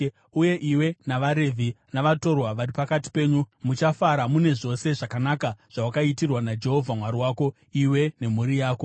Uye iwe navaRevhi, navatorwa vari pakati penyu muchafara mune zvose zvakanaka zvawakaitirwa naJehovha Mwari wako, iwe nemhuri yako.